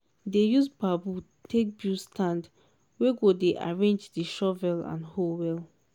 dey use bamboo take bulid stand wey go dey arrange di shovel and hoe well.